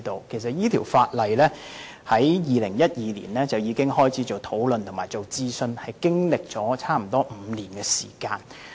其實，當局由2012年起已開始討論這項法例和進行諮詢，經歷了差不多5年時間。